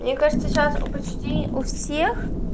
мне кажется сейчас почти у всех